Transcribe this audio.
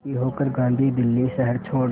दुखी होकर गांधी दिल्ली शहर छोड़